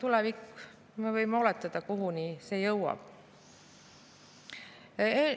Me võime vaid oletada, kuhu tulevikus jõutakse.